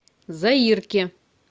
заирке